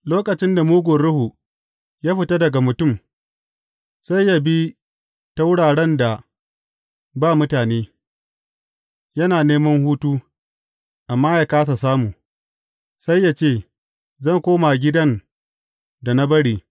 Lokacin da mugun ruhu ya fita daga mutum, sai ya bi ta wuraren da ba mutane, yana neman hutu, amma ya kāsa samu, sai ya ce, Zan koma gidan da na bari.’